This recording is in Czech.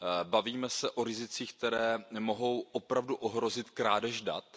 Bavíme se o rizicích, která mohou opravdu ohrozit krádež dat.